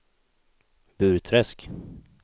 Burträsk